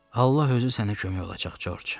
Allah özü sənə kömək olacaq, Corc.